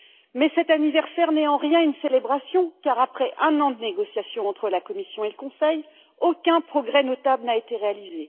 Mais cet anniversaire n'est en rien une célébration, car après un an de négociations entre la Commission et le Conseil, aucun progrès notable n'a été réalisé.